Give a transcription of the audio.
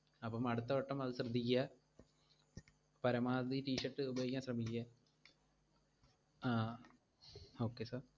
അപ്പം അടുത്ത വട്ടം അത് ശ്രദ്ധിക്ക്യാ, പരമാവധി t-shirt ഉപയോഗിക്കാൻ ശ്രമിക്ക്യാ, ആഹ് okay sir